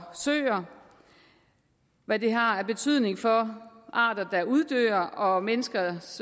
søer hvad det har af betydning for arter der uddør og menneskers